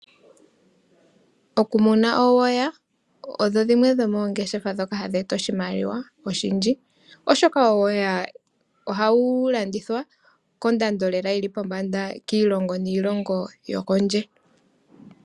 Okumuna uuhilili odho dhimwe dhomoongeshefa ndhoka hadhi eta oshimaliwa oshindji, oshoka uuhilili ohawu landithwa kondando lela yili pombanda kiilongo niilongo yokondje.